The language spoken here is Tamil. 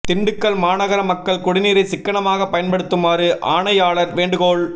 திண்டுக்கல் மாநகர மக்கள் குடிநீரை சிக்கனமாக பயன்படுத்துமாறு ஆணையாளர் வேண்டுகோள்